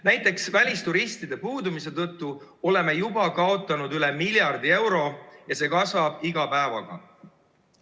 Näiteks, välisturistide puudumise tõttu oleme juba kaotanud üle miljardi euro ja see summa kasvab iga päevaga.